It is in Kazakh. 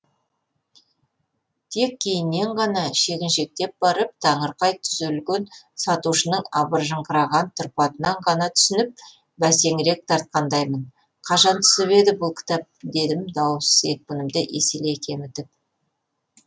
тек кейіннен ғана шегіншектеп барып таңырқай түзелген сатушының абыржыңқыраған тұрпатынан ғана түсініп бәсеңірек тартқандаймын қашан түсіп еді бұл кітап дедім дауыс екпінімді еселей кемітіп